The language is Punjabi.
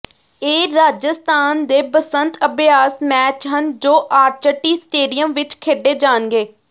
ਇਹ ਰਾਜਸਥਾਨ ਦੇ ਬਸੰਤ ਅਭਿਆਸ ਮੈਚ ਹਨ ਜੋ ਆਰਚਟੀ ਸਟੇਡੀਅਮ ਵਿਚ ਖੇਡੇ ਜਾਣਗੇ